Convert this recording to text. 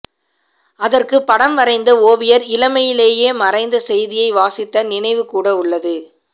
அதற்குப் படம் வரைந்த ஓவியர் இளமையிலேயே மறைந்த செய்தியை வாசித்த நினைவுகூட உள்ளது